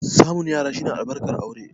Samun yara shi ne albarkar aure.